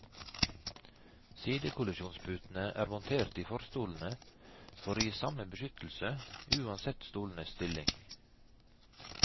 Sidekollisjonsputene er montert i forstolene for å gi samme beskyttelse uansett stolenes stilling.